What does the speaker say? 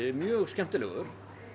mjög skemmtilegur